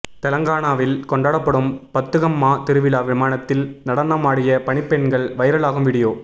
தெலங்கானாவில் கொண்டாடப்படும் பத்துகம்மா திருவிழா விமானத்தில் நடனமாடிய பனிப்பெண்கள் வைரல் அகும் வீடியோ